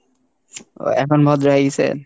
উহ এখন ভদ্র হয়ে গিছেন।